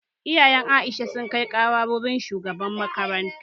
Iyayen Aisha sun kai ƙara wurin shugaban makaranta